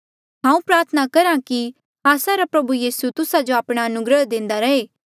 हांऊँ प्रार्थना करहा कि आस्सा रा प्रभु यीसू तुस्सा जो आपणा अनुग्रह देंदा रहे